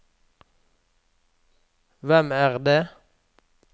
hvem er det